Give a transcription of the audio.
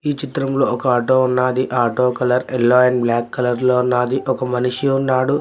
ఈ చిత్రం లో ఒక ఆటో ఉన్నాది ఆ auto colour yellow and black colour లో ఉన్నాది ఒక మనిషి ఉన్నాడు.